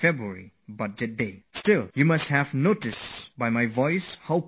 But, you must have noticed and felt it while you heard me speak how fit and brimming with confidence I am